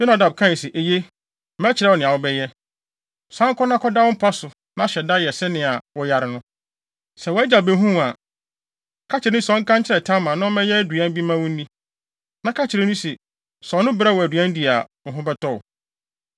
Yonadab kae se, “Eye, mɛkyerɛ wo nea wobɛyɛ. San kɔ na kɔda wo mpa so, na hyɛ da yɛ sɛnea woyare no. Sɛ wʼagya behu wo a, ka kyerɛ no se ɔnka nkyerɛ Tamar, na ɔmmɛyɛ aduan bi mma wo nni. Ka kyerɛ no se, sɛ ɔno brɛ wo aduan di a, wo ho bɛtɔ wo.”